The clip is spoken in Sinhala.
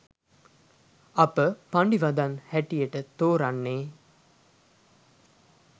අප පඬි වදන් හැටියට තෝරන්නේ